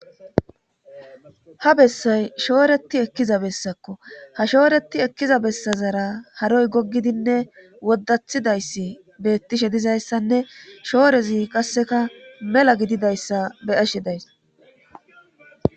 Ha bessay shooreti ekkiza bessakko ha shooreti ekkiza bessazara haroy goggidinne woddathidayssi beettishe dizayssanne shoorezi qasseka mela gididayssa be ashe days